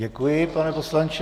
Děkuji, pane poslanče.